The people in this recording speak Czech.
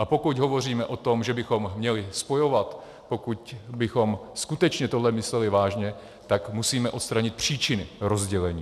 A pokud hovoříme o tom, že bychom měli spojovat, pokud bychom skutečně tohle mysleli vážně, tak musíme odstranit příčiny rozdělení.